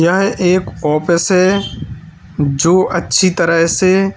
यह एक ऑफिस हैं जो अच्छी तरह से--